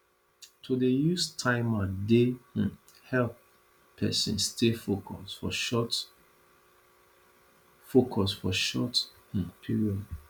to dey use timer dey um help pesin stay focus for short focus for short um period